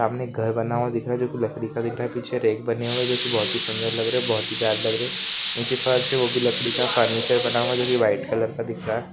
सामने घर बना हुआ दिख रहा है जो कि लकड़ी का दिख रहा है पीछे रेक बने हुए हैं जो कि बोहोत ही सुन्दर लग रहे है बहोत ही प्यारे लग रहे नीचे फर्श है वो भी लकड़ी का फर्नीचर बना हुआ है जो की वाईट कलर का दिख रहा है।